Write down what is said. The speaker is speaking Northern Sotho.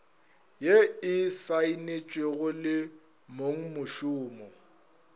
ye e saenetšwego le mongmošomo